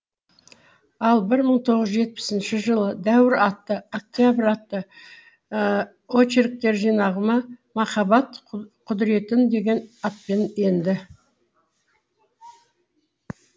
ал бір мың тоғыз жүз жетпісінші жылы дәуір атты октябрь атты очерктер жинағыма махаббат құдыреті деген атпен енді